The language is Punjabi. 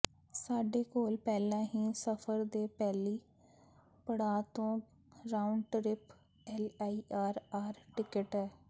ਸਾਡੇ ਕੋਲ ਪਹਿਲਾਂ ਹੀ ਸਫ਼ਰ ਦੇ ਪਹਿਲੇ ਪੜਾਅ ਤੋਂ round trip LIR R ticket ਹੈ